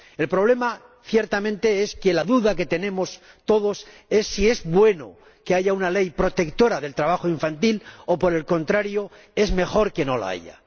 El problema, ciertamente, es que la duda que tenemos todos es si es bueno que haya una ley protectora del trabajo infantil o, por el contrario, es mejor que no la haya.